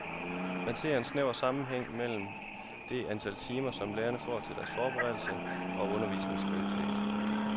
Man ser en snæver sammenhæng mellem det antal timer, som lærerne får til deres forberedelse og undervisningens kvalitet.